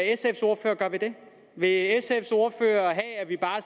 sfs ordfører gøre ved det vil sfs ordfører have at vi bare